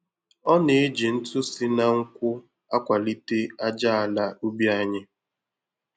Ọ na-eji ntụ si na nkwụ́ akwalite aja ala ubi anyị.